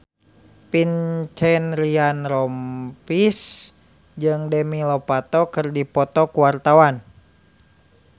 Vincent Ryan Rompies jeung Demi Lovato keur dipoto ku wartawan